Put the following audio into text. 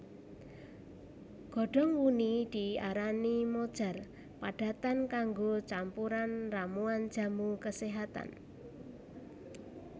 Godhong wuni diarani mojar padatan kanggo campuran ramuan jamu keséhatan